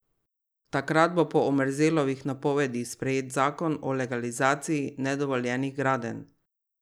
Takrat bo po Omerzelovih napovedih sprejet zakon o legalizaciji nedovoljenih gradenj.